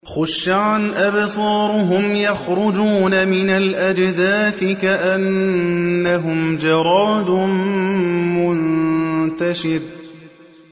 خُشَّعًا أَبْصَارُهُمْ يَخْرُجُونَ مِنَ الْأَجْدَاثِ كَأَنَّهُمْ جَرَادٌ مُّنتَشِرٌ